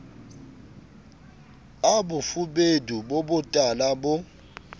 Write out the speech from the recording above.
a bofubedu bo botala bo